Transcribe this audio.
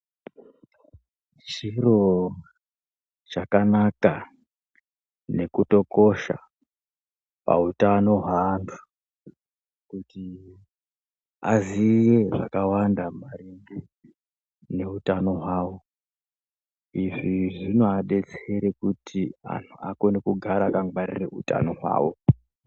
Chiro chakanaka nekutokosha pautano hweantu kuti aziye zvakawanda maringe neutano hwawo izvi zvinoadetsere kuti anhu akone kugara akangwarira utano hwawo.